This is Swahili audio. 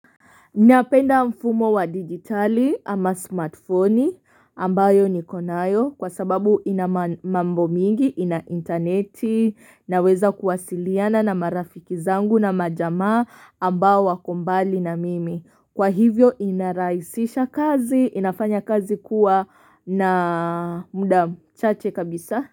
Napenda mfumo wa digitali ama smartphoni ambayo nikonayo kwa sababu ina mambo mengi, ina intaneti naweza kuwasiliana na marafiki zangu na majama ambao wakombali na mimi. Kwa hivyo inarahisisha kazi, inafanya kazi kuwa na muda mchache kabisa.